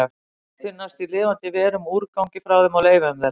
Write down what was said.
Þau finnast í lifandi verum, úrgangi frá þeim og leifum þeirra.